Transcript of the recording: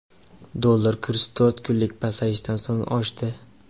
Dollar kursi to‘rt kunlik pasayishdan so‘ng oshdi.